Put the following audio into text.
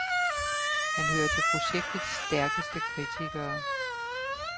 Han hører til projektets stærkeste kritikere.